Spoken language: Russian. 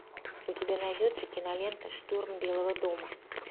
у тебя найдется кинолента штурм белого дома